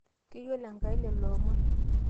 keyiolo Enkai lelo omon